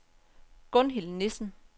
Gunhild Nissen